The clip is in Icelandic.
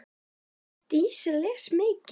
Dísa les mikið.